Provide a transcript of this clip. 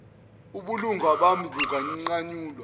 ubulunga bami bunganqanyulwa